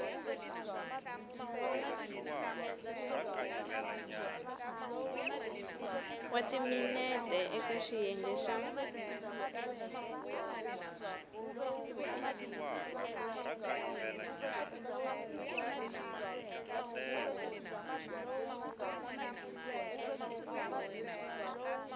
wa timinete eka xiyenge xa